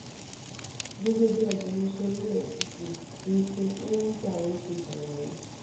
gẹ́gẹ́ bí agbẹnusọ efcc wilson uwujahre ṣe ṣàlàyé